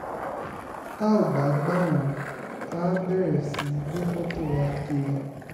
tá ò bá gbà á wọ́n àá bẹ̀rẹ̀ sí í gbé fọ́tò wa kiri